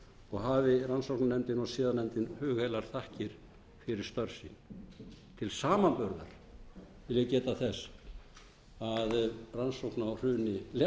og hafi rannsóknarnefndin og siðanefndin hugheilar þakkir fyrir störf sín til samanburðar vil ég geta þess að rannsókn á hruni lehman banka sem kostaði